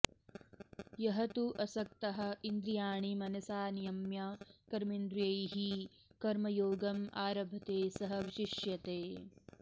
यः तु असक्तः इन्द्रियाणि मनसा नियम्य कर्मेन्द्रियैः कर्मयोगम् आरभते सः विशिष्यते